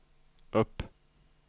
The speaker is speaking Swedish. upp